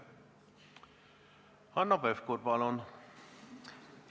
Hanno Pevkur, palun!